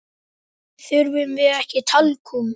Þurfum við ekki talkúm?